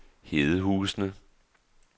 Hedehusene